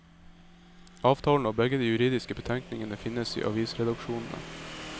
Avtalen og begge de juridiske betenkningene finnes i avisredaksjonene.